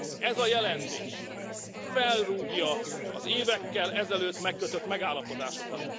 Ez a jelentés felrúgja az évekkel ezelőtt megkötött megállapodásokat.